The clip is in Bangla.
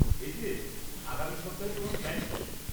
এই যে, আগামী সপ্তাহে তোমার প্ল্যান কি?